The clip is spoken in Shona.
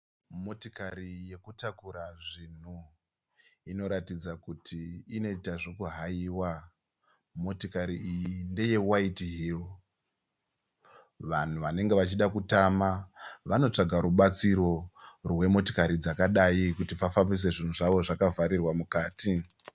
Motikari yekutakura zvinhu, inoratidza kuti inoita zvekuhaiwa. Motikari iyi ndeye "WHITEHILL". Vanhu vanenge vachida kutama vanotsvaga rubatsiro rwemotikari dzakadai kuti vafambise zvinhu zvavo zvakavharirwa mukati.